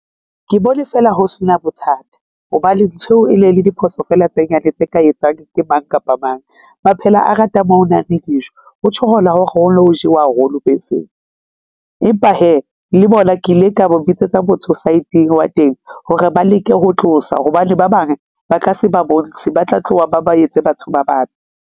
Ke bone fela ho sena bothata hobane nthweo e ne le diphoso fela tse nyane, tse ka etsang ke mang kapa mang. Maphela a ratang mo ho nang le dijo, o thola hore ho no ho jewa haholo beseng. Empa hee, le bona ke ile ka ba bitsetsa motho saeteng wa teng hore ba leke ho tlosa hobane ba bang ba ka se ba bontshe ba tla tloha ba ba etse batho ba babe.